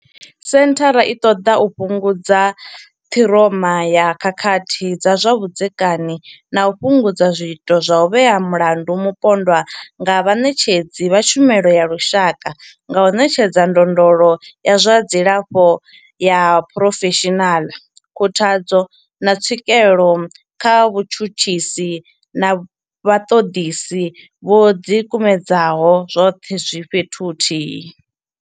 Senthara i ṱoḓa u fhungudza ṱhiroma ya khakhathi dza zwa vhudzekani na u fhungudza zwiito zwa u vhea mulandu mupondwa nga vhaṋetshedzi vha tshumelo ya lushaka nga u ṋetshedza ndondolo ya zwa dzilafho ya phurofeshinala, khuthadzo, na tswikelo kha vhatshutshisi na vhaṱoḓisi vho ḓikumedzaho, zwoṱhe zwi fhethu huthihi.